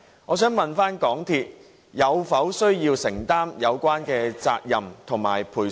我想問港鐵需否承擔有關責任及賠償？